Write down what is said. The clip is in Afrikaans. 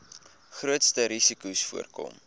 grootste risikos voorkom